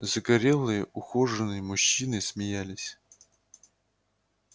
загорелые ухоженные мужчины смеялись